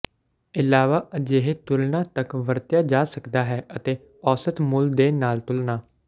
ਇਲਾਵਾ ਅਜਿਹੇ ਤੁਲਨਾ ਤੱਕ ਵਰਤਿਆ ਜਾ ਸਕਦਾ ਹੈ ਅਤੇ ਔਸਤ ਮੁੱਲ ਦੇ ਨਾਲ ਤੁਲਨਾ